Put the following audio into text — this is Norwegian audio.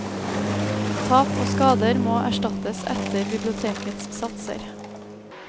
Tap og skader må erstattes etter bibliotekets satser.